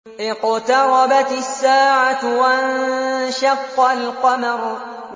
اقْتَرَبَتِ السَّاعَةُ وَانشَقَّ الْقَمَرُ